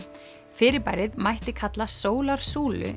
fyrirbærið mætti kalla